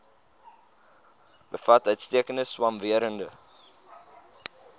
bevat uitstekende swamwerende